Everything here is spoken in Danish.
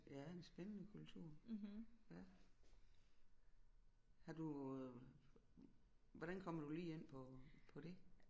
Ja en spændende kultur ja har du hvordan kommer du lige ind på på det